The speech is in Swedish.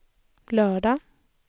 lördagen